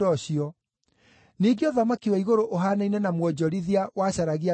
“Ningĩ ũthamaki wa igũrũ ũhaanaine na mwonjorithia wacaragia ruru njega.